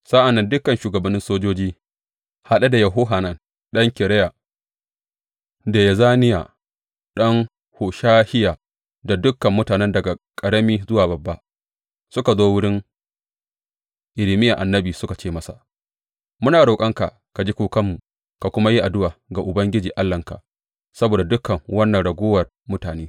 Sa’an nan dukan shugabannin sojoji, haɗe da Yohanan ɗan Kareya da Yezaniya ɗan Hoshahiya, da dukan mutane daga ƙarami zuwa babba, suka zo wurin Irmiya annabi suka ce masa, Muna roƙonka ka ji kukanmu ka kuma yi addu’a ga Ubangiji Allahnka saboda dukan wannan raguwar mutane.